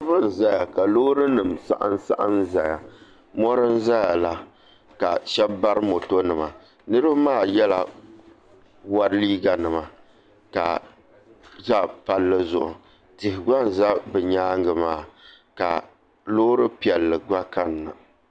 Loori ʒɛya ka loori nim saɣam saɣam ʒɛya mɔri n ʒɛya la ka shab bari moto nima niraba maa yɛla wɔri liiga nima ka za palli zuɣu tihi gba n ʒɛ bi nyaangi maa ka loori piɛlli gba kanna